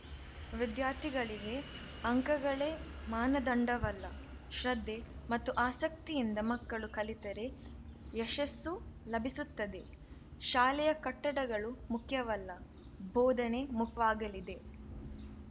ವಿದ್ಯಾರ್ಥಿಗೆ ಅಂಕಗಳೇ ಮಾನದಂಡವಲ್ಲ ಶ್ರದ್ಧೆ ಮತ್ತು ಆಸಕ್ತಿಯಿಂದ ಮಕ್ಕಳು ಕಲಿತರೆ ಯಶಸ್ಸು ಲಭಿಸುತ್ತದೆ ಶಾಲೆಯ ಕಟ್ಟಡಗಳು ಮುಖ್ಯವಲ್ಲ ಬೋಧನೆ ಮುಖ್ಯವಾಗಲಿದೆ